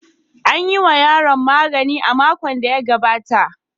An yi wa yaron magani a makon da ya gabata.